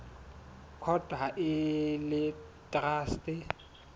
court ha e le traste